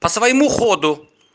по-своему ходу